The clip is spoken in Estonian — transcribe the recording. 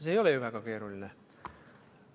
See ei ole ju väga keeruline.